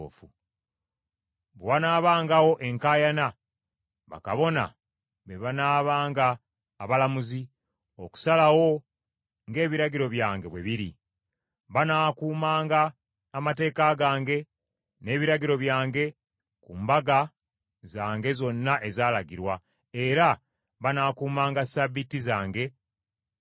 “ ‘Bwe wanaabangawo enkaayana, bakabona be banaabanga abalamuzi, okusalawo ng’ebiragiro byange bwe biri. Banaakumanga amateeka gange n’ebiragiro byange ku mbaga zange zonna ezaalagirwa, era banaakumanga Ssabbiiti zange nga ntukuvu.